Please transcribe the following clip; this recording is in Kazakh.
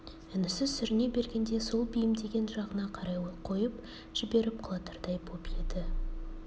інісі сүріне бергенде сол бейімдеген жағына қарай қойып жіберіп құлатардай боп еді